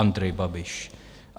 Andrej Babiš.